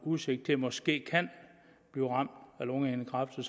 udsigt til måske at blive ramt af lungehindekræft og